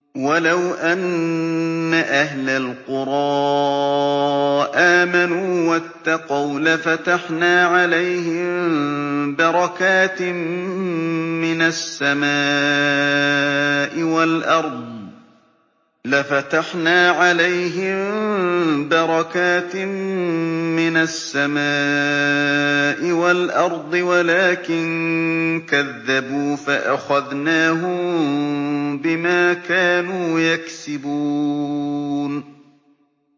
وَلَوْ أَنَّ أَهْلَ الْقُرَىٰ آمَنُوا وَاتَّقَوْا لَفَتَحْنَا عَلَيْهِم بَرَكَاتٍ مِّنَ السَّمَاءِ وَالْأَرْضِ وَلَٰكِن كَذَّبُوا فَأَخَذْنَاهُم بِمَا كَانُوا يَكْسِبُونَ